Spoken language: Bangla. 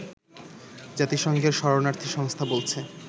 জাতিসংঘের শরণার্থী সংস্থা বলছে